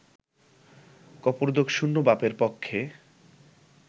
কপর্দকশূন্য বাপের পক্ষে